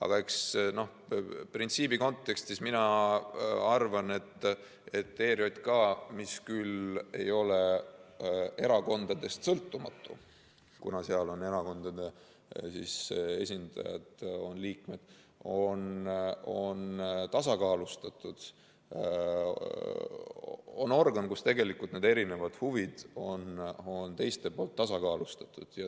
Aga printsiibi kontekstis ma arvan, et ERJK, mis küll ei ole erakondadest sõltumatu, kuna erakondade esindajad on seal liikmed, on tasakaalustatud organ, kus tegelikult need erinevad huvid on teiste poolt tasakaalustatud.